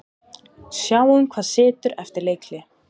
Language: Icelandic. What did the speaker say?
Sjáum hvað setur eftir leikhlé.